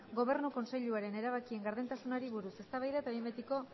gobernu kontseiluaren erabakien gardentasunari buruz eztabaida eta behin betiko